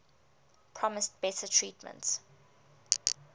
promised better treatment